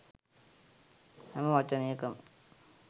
හැම වචනයකම